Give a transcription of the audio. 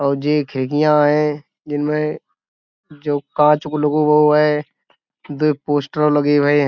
और जे खिड़कियाँ है जिनमे जो कांच को लगो हुओ है। दुइ पोस्टर लगे हुए --